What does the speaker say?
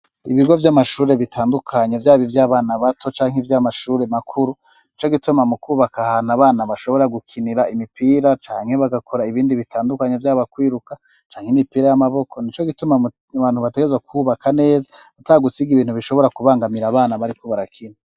Ibigo vy'amashure bitandukanye vyaba ivy'abana bato canke ivy'amashure makuru, nico gituma mu kubaka ahantu abana bashobora gukinira imipira canke bagakora ibindi bitandukanye vy'aba kwiruka canke imipira y'amaboko nico gituma bantu bategezwa kubaka neza atagusiga ibintu bishobora kubangamira abana bariko barakina.